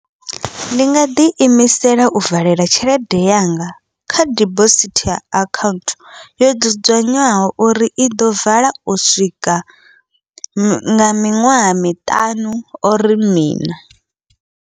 Ndi nga ḓi imisela u valela tshelede yanga, kha dibosithi akhaunthu yo dzudzanywaho uri iḓo vala u swika nga miṅwaha miṱanu or miṋa.